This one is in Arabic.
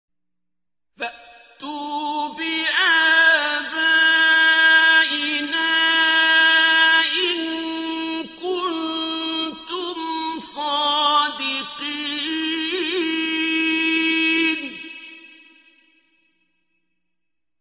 فَأْتُوا بِآبَائِنَا إِن كُنتُمْ صَادِقِينَ